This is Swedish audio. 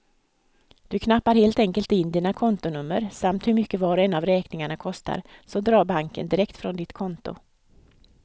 Du knappar helt enkelt in dina kontonummer samt hur mycket var och en av räkningarna kostar, så drar banken direkt från ditt konto.